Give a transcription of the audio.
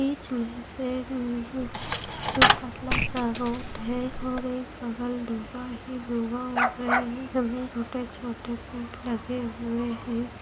बीच मे से जो पतला सा रोड है और एक बगल धुआं ही धुआं उड़ रहे हैं जिनमें छोटे-छोटे पेड़ लगे हुए है।